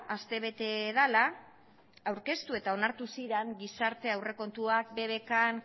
aste bete dela aurkeztu eta onartu ziran gizartea aurrekontuak bbkn